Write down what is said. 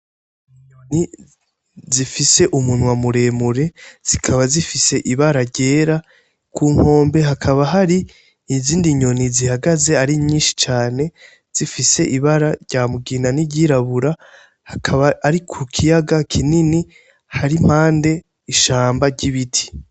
Inyoni zifise umunwa muremure zikaba zifise ibara ryera ku nkombe hakaba hari izindi nyoni zihagaze ari nyinshi cane zifise ibara rya mugina n'iryirabura hakaba ari ku kiyaga kinini hari mpande ishamba ry'ibiti.